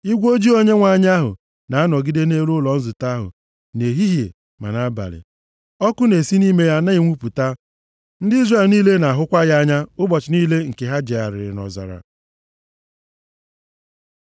Igwe ojii Onyenwe anyị ahụ na-anọgide nʼelu ụlọ nzute ahụ nʼehihie ma nʼabalị, ọkụ na-esi nʼime ya na-enwupụta. Ndị Izrel niile na-ahụkwa ya anya ụbọchị niile nke ha jegharịrị nʼọzara.